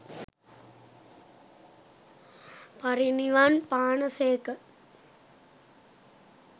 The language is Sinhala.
පිරිනිවන් පානා සේක.